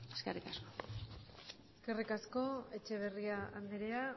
eskerrik asko eskerrik asko etxeberria andrea